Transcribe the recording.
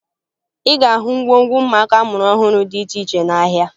Ị ga-ahụ ngwongwo ụmụaka a mụrụ ọhụrụ dị iche iche n'ahịa